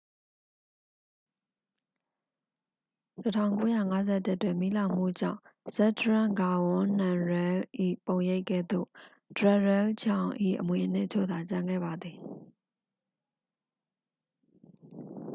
1951 တွင် မီးလောင်မှုကြောင့် ဇက်ဒရန့် ဂါဝန်း နမ်ရဲလ်၏ ပုံရိပ်ကဲ့သို့ ဒရက်ရဲလ်ဂျောင်၏ အမွေအနှစ်အချို့သာ ကျန်ခဲ့ပါသည်